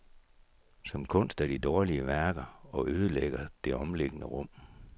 Som kunst er de dårlige værker og ødelægger det omliggende rum.